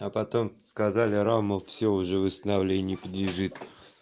а потом сказали рама всё уже восстановлению не подлежит